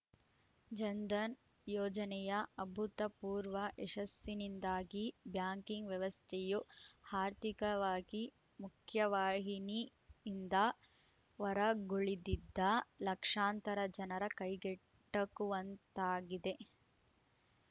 ಜನ್‌ಧನ್‌ ಯೋಜನೆಯ ಅಭೂತಪೂರ್ವ ಯಶಸ್ಸಿನಿಂದಾಗಿ ಬ್ಯಾಂಕಿಂಗ್‌ ವ್ಯವಸ್ಥೆಯು ಹಾರ್ಥಿಕವಾಗಿ ಮುಖ್ಯವಾಹಿನಿಯಿಂದ ಹೊರಗುಳಿದಿದ್ದ ಲಕ್ಷಾಂತರ ಜನರ ಕೈಗೆಟಕುವಂತಾಗಿದೆ